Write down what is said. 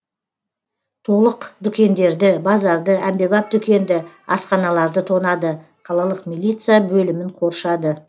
толық дүкендерді базарды әмбебап дүкенді асханаларды тонады қалалық милиция бөлімін қоршады